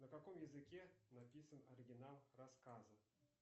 на каком языке написан оригинал рассказы